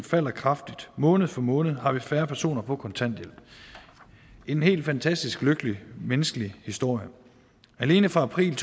falder kraftigt måned for måned har vi færre personer på kontanthjælp en helt fantastisk lykkelig menneskelig historie alene fra april